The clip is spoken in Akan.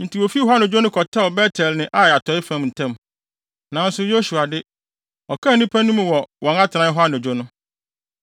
Enti wofii hɔ anadwo no kɔtɛw Bet-El ne Ai atɔe fam ntam. Nanso, Yosua de, ɔkaa nnipa no mu wɔ wɔn atenae hɔ anadwo no.